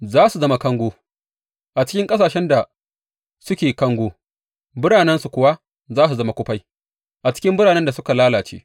Za su zama kango a cikin ƙasashen da suke kango, biranensu kuwa za su zama kufai a cikin biranen da suka lalace.